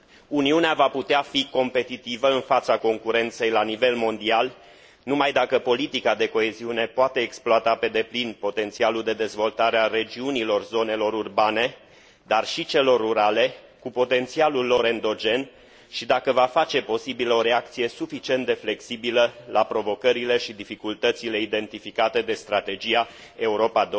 Uniunea va putea fi competitivă în fața concurenței la nivel mondial numai dacă politica de coeziune poate exploata pe deplin potențialul de dezvoltare al regiunilor zonelor urbane, dar și al celor rurale, cu potențialul lor endogen și dacă va face posibilă o reacție suficient de flexibilă la provocările și dificultățile identificate de strategia Europa